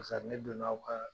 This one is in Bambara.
ne don na aw ka